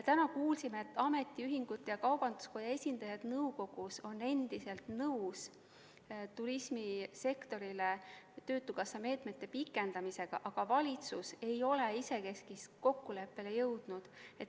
Täna kuulsime, et ametiühingute ja kaubanduskoja esindajad nõukogus on endiselt nõus turismisektorile töötukassa meetmete pikendamisega, aga valitsus ei ole isekeskis kokkuleppele jõudnud.